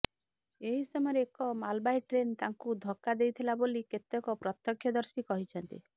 ଏହି ସମୟରେ ଏକ ମାଲବାହୀ ଟ୍ରେନ୍ ତାଙ୍କୁ ଧକ୍କା ଦେଇଥିଲା ବୋଲି କେତେକ ପ୍ରତ୍ୟକ୍ଷଦର୍ଶୀ କହିଛନ୍ତି